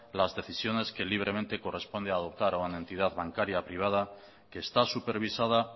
las decisiones que libremente corresponde adoptar a una entidad bancaria privada que está supervisada